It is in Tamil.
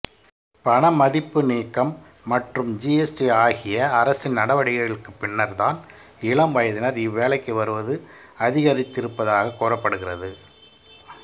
பண மதிப்பு நீக்கம் மற்றும் ஜிஎஸ்டி ஆகிய அரசின் நடவடிக்கைகளுக்குப் பின்னர்தான் இளம் வயதினர் இவ்வேலைக்கு வருவது அதிகரித்திருப்பதாகக் கூறப்படுகிறது